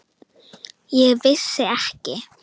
Ég vissi ekki.